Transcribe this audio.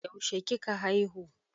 yaushe kika haihu?